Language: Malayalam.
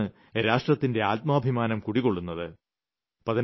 അവരിലാണ് രാഷ്ട്രത്തിന്റെ ആത്മാഭിമാനം കുടികൊള്ളുന്നത്